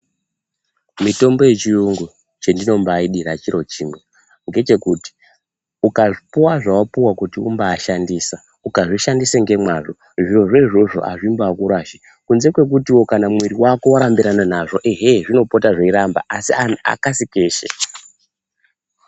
Mitombo yechiyungu chendino mbaidiraechiro chimwe ngechekuti ukazvipuwa zvawapuwa kuti umbashandisa , ukazvi shandise ngemwazvo zvirozvo izvozvo azvi mbakurashi kunze kwekutiwo kana mumwiri wako warambirana nazvo ehe zvinopota zveiramba asi akasi keshe.